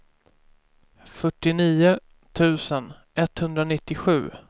fyrtionio tusen etthundranittiosju